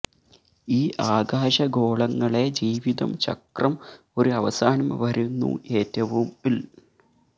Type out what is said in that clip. ഈ ആകാശഗോളങ്ങളെ ജീവിതം ചക്രം ഒരു അവസാനം വരുന്നു ഏറ്റവും ൽ